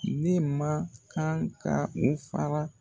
Ne ma kan ka n fara.